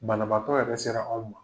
Banabaatɔ yɛrɛ sera aw ma.